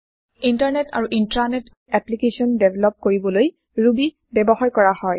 internet আৰু intranet application develop কৰিবলৈ Ruby ব্যৱহাৰ কৰা হয়